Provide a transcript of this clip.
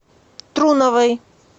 труновой